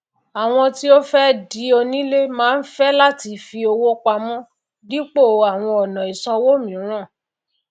àwọn tí ó fé di onílé máá fé láti fi owó pamó dípò àwòn ònà ìsawó mìíràn